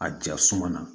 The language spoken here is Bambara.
A ja suma na